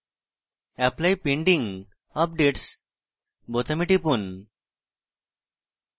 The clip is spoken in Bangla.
apply pending updates বোতামে টিপুন